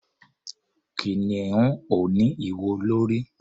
Kìnìún ò ní ìwo lórí.